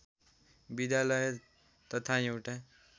विद्यालय तथा एउटा